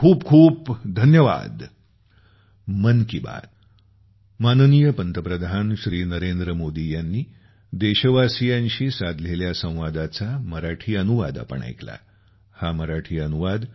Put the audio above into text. खूप खूप धन्यवाद